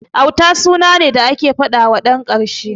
Auta suna ne da ake faɗawa ɗan karshe a gida.